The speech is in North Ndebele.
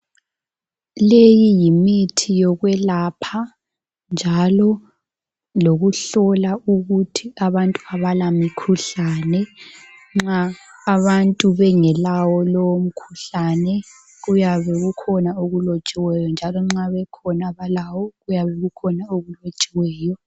leyi yimithi yokwelapha njalo lokuhlola ukuthi abalamkhuhlane nxa abantu bengelawo lowo mkhuhlane kuyabe kukhona okulotshiweyo njalo nxa kukhona abalawo kuyabe kukhona okulotshiweyo